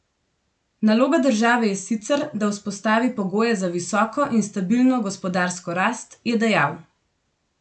Naloga države je sicer, da vzpostavi pogoje za visoko in stabilno gospodarsko rast, je dejal.